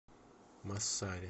массари